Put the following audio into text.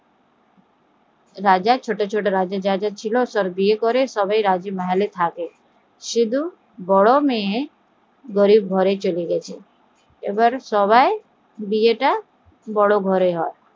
সব মেয়ের বিয়ে করিয়ে সবাই রাজ্ মহলে থাকে শুধু বড়ো মেয়ে গরিব ঘরে চলে যায় এবার সবার বিয়েটা বড় ঘরে হয়